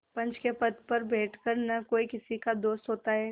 पंच के पद पर बैठ कर न कोई किसी का दोस्त होता है